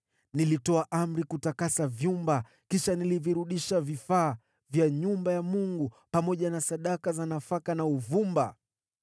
Nilitoa amri kutakasa vyumba, kisha nikavirudisha vifaa vya nyumba ya Mungu, pamoja na sadaka za nafaka na uvumba.